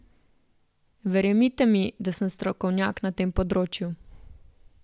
Verjemite mi, sem strokovnjak na tem področju.